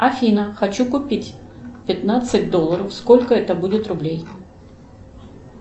афина хочу купить пятнадцать долларов сколько это будет рублей